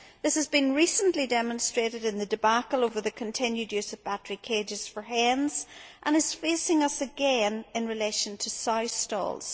This has been recently demonstrated in the debacle over the continued use of battery cages for hens, and is facing us again in relation to sow stalls.